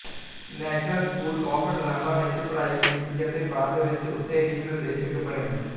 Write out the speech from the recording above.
national School of Drama ਵਿੱਚ ਪੜ੍ਹਾਈ ਕੀਤੀ ਅਤੇ ਬਾਅਦ ਵਿੱਚ ਉਥੇ ਹੀ ਨਿਰਦੇਸ਼ਕ ਬਣੇ